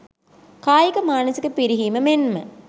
කායික මානසික පිරිහීම මෙන්ම